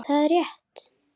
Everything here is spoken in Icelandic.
Það er rétt.